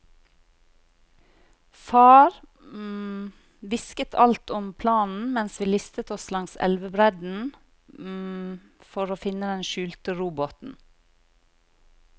Far hvisket alt om planen mens vi listet oss langs elvebredden for å finne den skjulte robåten.